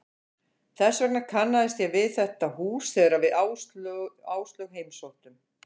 Þess vegna kannaðist ég við þetta hús þegar við Áslaug heimsóttum